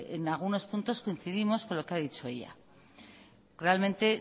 en algunos puntos coincidimos con lo que ha dicho ella realmente